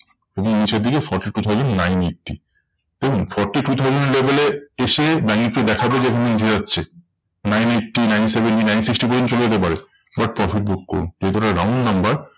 খুবই নিচের দিকে forty two thousand nine eighty. দেখুন forty two thousand এর level এ এসে ব্যাঙ্ক নিফটি দেখাবে যে এখানে হচ্ছে। nine eighty, nine seventy, nine sixty পর্যন্ত চলে যেতে পারে। but profit book করুন। যেহেতু এটা round number